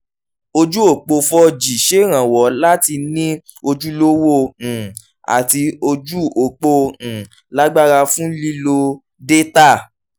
ojú-òpó four g ṣèrànwọ́ láti ní ojúlówó um àti ojú-òpó um lágbára fún lílo dátà.